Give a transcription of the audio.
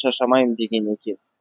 шаршамаймын деген екен